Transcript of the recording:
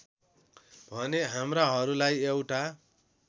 भने हाम्राहरूलाई एउटा